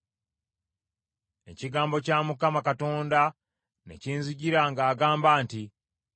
Ekigambo kya Mukama Katonda ne kinzijira ng’agamba nti,